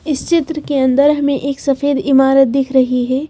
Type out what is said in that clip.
इस चित्र के अंदर हमें एक सफेद इमारत दिख रही है।